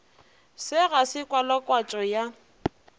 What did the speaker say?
se ga se kwalakwatšo ya